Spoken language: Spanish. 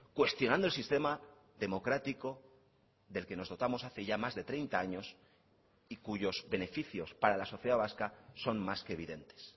cuestionando el sistema democrático del que nos dotamos hace ya más de treinta años y cuyos beneficios para la sociedad vasca son más que evidentes